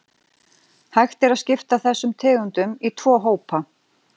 Hægt er að skipta þessum tegundum í tvo hópa.